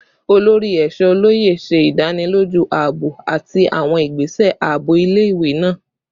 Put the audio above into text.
Olori Eesho Oloye ṣe idaniloju aabo ati awọn igbese aabo ile-iwe naa